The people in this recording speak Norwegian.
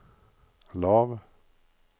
lav